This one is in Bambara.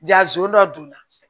Ja zon dɔ donna